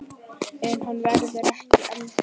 En hann verður ekki eldri.